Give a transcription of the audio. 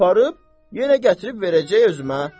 Aparıb, yenə gətirib verəcək özümə.